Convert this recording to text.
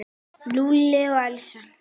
Lúlli og Elísa.